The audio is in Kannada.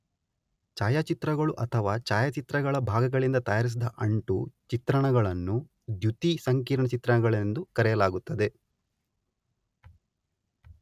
ಛಾಯಾಚಿತ್ರಗಳು ಅಥವಾ ಛಾಯಾಚಿತ್ರಗಳ ಭಾಗಗಳಿಂದ ತಯಾರಿಸಿದ ಅಂಟು ಚಿತ್ರಣಗಳನ್ನು ದ್ಯುತಿ ಸಂಕೀರ್ಣ ಚಿತ್ರಗಳೆಂದು ಕರೆಯಲಾಗುತ್ತದೆ.